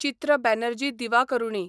चित्र बॅनर्जी दिवाकरूणी